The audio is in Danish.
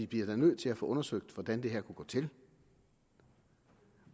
bliver nødt til at få undersøgt hvordan det her kunne gå til